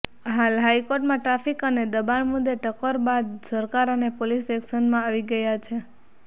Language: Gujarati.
હાલ હાઈકોર્ટમાં ટ્રાફિક અને દબાણ મુદ્દે ટકોર બાદ સરકાર અને પોલીસ એક્શનમાં આવી ગયા છે